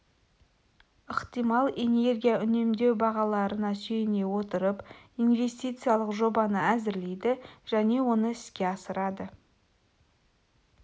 ықтимал энергия үнемдеу бағаларына сүйене отырып инвестициялық жобаны әзірлейді және оны іске асырады